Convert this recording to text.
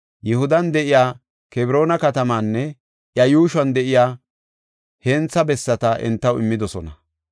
Yihudan de7iya Kebroona katamaanne iya yuushuwan de7iya hentha bessata entaw immidosona.